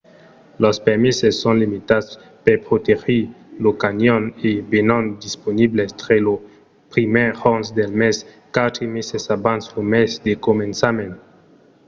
los permeses son limitats per protegir lo canyon e venon disponibles tre lo 1èr jorn del mes quatre meses abans lo mes de començament